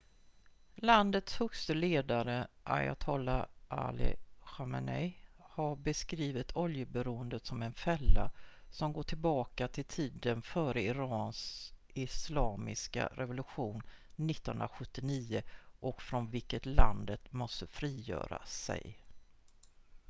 "landets högste ledare ayatolla ali khamenei har beskrivit oljeberoendet som "en fälla" som går tillbaka till tiden före irans islamiska revolution 1979 och från vilket landet måste frigöra sig.